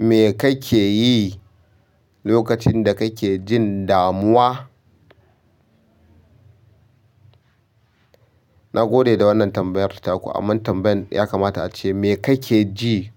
Me kake yi lokacin da kake jin damuwa? Nagode da wannan tambayar ta ku, amman tambayan ya kamata ace, me kake ji